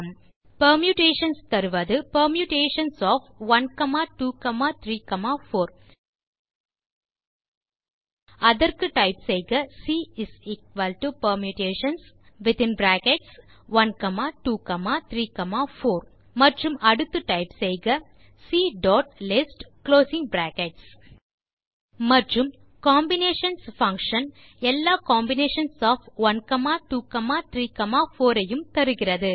Permutations தருவது permutations of 1 2 3 4 அதற்கு type செய்க CPermutations1234 மற்றும் அடுத்து டைப் செய்க Clist மற்றும் Combinations எல்லா காம்பினேஷன்ஸ் ஒஃப் 1 2 3 4 ஐயும் தருகிறது